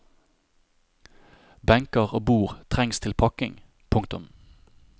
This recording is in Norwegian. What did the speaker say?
Benker og bord trengs til pakking. punktum